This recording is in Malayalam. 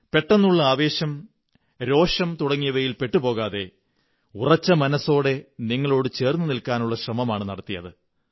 പെട്ടെന്നുള്ള ആവേശം രോഷം തുടങ്ങിയവയിൽ പെട്ടുപോകാതെ ഉറച്ച മനസ്സോടെ നിങ്ങളോടു ചേര്ന്നു നില്ക്കാനുള്ള ശ്രമമാണു നടത്തിയത്